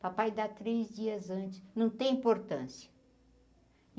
Papai dá três dias antes, não tem importância.